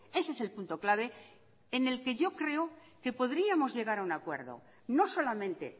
ese es el punto clave en el que yo creo que podríamos llegar a un acuerdo no solamente